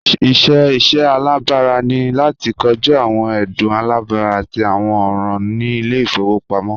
Iṣẹ iṣẹ alabara ni lati koju awọn ẹdun alabara ati awọn ọran ni ile-ifowopamọ